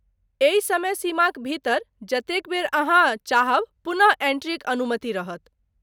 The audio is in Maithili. एहि समय सीमाक भीतर जतेक बेर अहाँ चाहब पुनः एंट्रीक अनुमति रहत।